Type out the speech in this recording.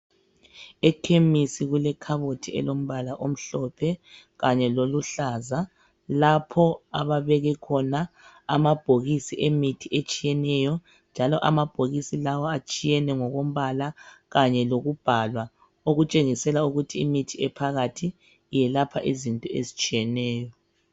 Ekhemisi kulekhabothi elombala omhlophe kanye leluhlaza lapho ababeke khona amabhokisi emithi etshiyeneyo amabhokisi lawa atshiyene ngokombala kanye lokubhalwa okutshengisela ukuthi imithi ephakathi iyelapha izinto ezitshiyeneyo.